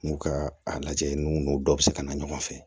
N'u ka a lajɛ ninnu dɔ bɛ se ka na ɲɔgɔn fɛ